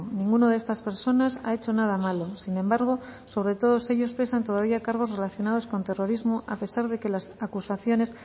ninguna de estas personas ha hecho nada malo sin embargo sobre todos ellos pesan todavía cargos relacionados con terrorismo a pesar de que las acusaciones